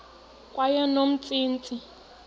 kweyomntsintsi